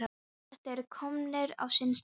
Þeir eru komnir á sinn stað.